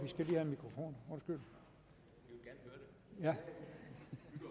ved godt